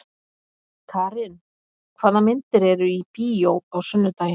Karin, hvaða myndir eru í bíó á sunnudaginn?